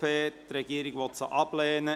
Die Regierung will sie ablehnen.